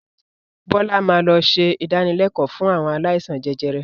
Bọlá máa lọ ṣe ìdánilẹ̀kọ̀ fún àwọn aláìsàn jẹjẹrẹ